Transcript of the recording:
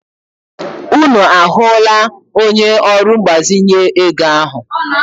Unu ahụla onye ọrụ mgbazinye ego ahụ?